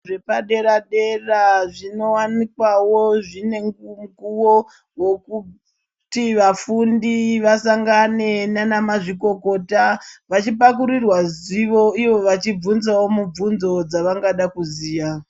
Zvepadera dera zvinowanikwawo zvine mukuwo wekuti vafundi vasangane nana mazvikokota vachipakurirwa zivo ivo vachibhunzawo mibvunzo dzavangada kuziya.